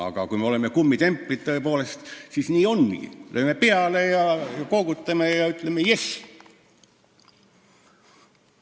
Aga kui me oleme tõepoolest kummitemplid, siis nii ongi: lööme heakskiidu peale, koogutame ja ütleme yes.